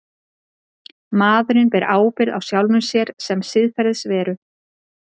maðurinn ber ábyrgð á sjálfum sér sem siðferðisveru